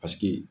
Paseke